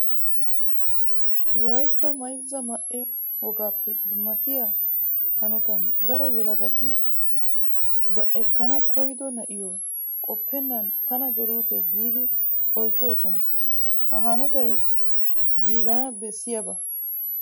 Wolaytta mayzza ma"e wogaappe dummatiya hanotan daro yelagati ba ekkana koyyido na'iyo qoppennan tana geluutee giidi oychchoosona. Ha hanotay giigana bessiyaba.